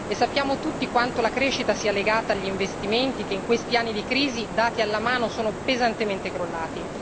Sappiamo tutti quanto la crescita sia legata agli investimenti che in questi anni di crisi dati alla mano sono pesantemente crollati.